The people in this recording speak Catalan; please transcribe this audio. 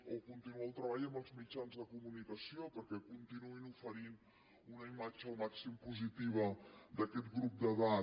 o continuar el treball amb els mitjans de comunicació perquè continuïn oferint una imatge al màxim positiva d’aquest grup d’edat